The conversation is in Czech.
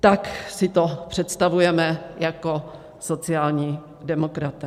Tak si to představujeme jako sociální demokraté.